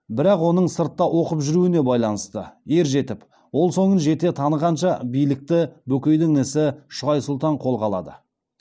бірақ оның сыртта оқып жүруіне байланысты ер жетіп оң солын жете танығанша билікті бөкейдің інісі шығай сұлтан қолға алады